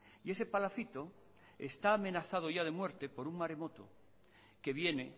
y ese palacito está amenazado ya de muerte por un maremoto que viene